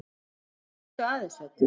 Hvernig fórstu að þessu öllu?